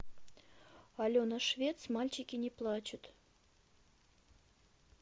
алена швец мальчики не плачут